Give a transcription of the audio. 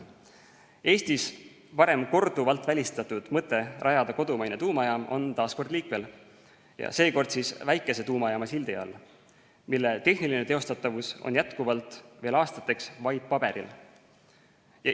Eestis varem korduvalt välistatud mõte rajada kodumaine tuumajaam on taas liikvel ja seekord väikese tuumajaama sildi all, mille tehniline teostatavus on jätkuvalt veel aastateks vaid paberil.